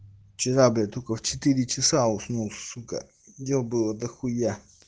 вчера бля только в четыре часа уснул сука дел было дохуя